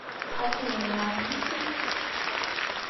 афина ну отлично